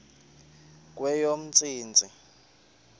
kweyomntsintsi